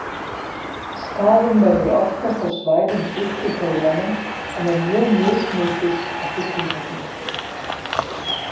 Skaðinn verður oftast á svæðum djúpt í heilanum en er mjög mismikill eftir tilfellum.